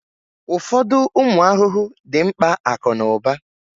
Ụfọdụ ụmụ ahụhụ dị mkpa akụ na ụba